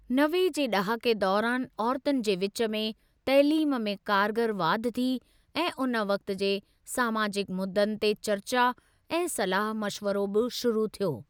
नवे जे ॾहाके दौरान औरतुनि जे विच में तइलीम में कारगर वाधि थी ऐं उन वक़्ति जे समाजिक मुद्दनि ते चर्चा ऐं सलाह मशवरो बि शुरू थियो।